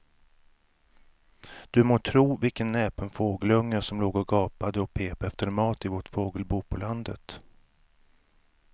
Du må tro vilken näpen fågelunge som låg och gapade och pep efter mat i vårt fågelbo på landet.